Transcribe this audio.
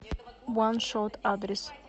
ван шот адрес